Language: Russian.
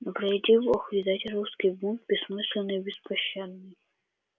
не приведи бог видеть русский бунт бессмысленный и беспощадный